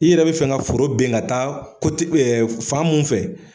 I yɛrɛ bi fɛn ka foro bin ka taa fan mun fɛ